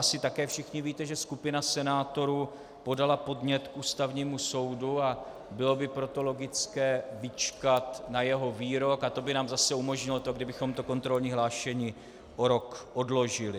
Asi také všichni víte, že skupina senátorů podala podnět k Ústavnímu soudu, a bylo by proto logické vyčkat na jeho výrok, a to by nám zase umožnilo to, kdybychom to kontrolní hlášení o rok odložili.